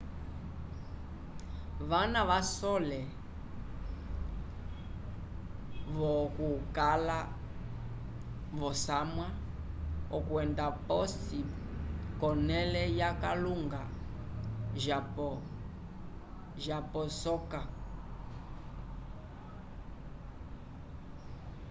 vana vasole vo okucala vosamwa okwendela posi conele yakalunga japosoka